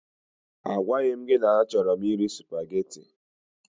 A gwaghi m gị na a chọrọ m iri supageti.